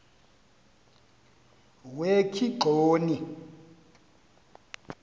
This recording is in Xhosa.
wekigxoni